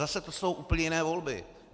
Zase to jsou úplně jiné volby.